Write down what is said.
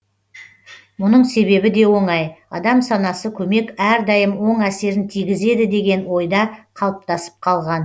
мұның себебі де оңай адам санасы көмек әрдайым оң әсерін тигізеді деген ойда қалыптасып қалған